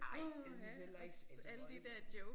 Ej jeg synes heller ikke det så voldsomt